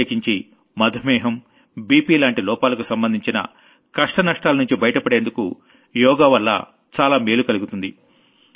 ప్రత్యేకించి diabetes blood pressure లాంటి లోపాలకు సంబంధించిన కష్టానష్టాలనుంచి బైటపడేందుకు యోగవల్ల చాలా మేలు కలుగుతుంది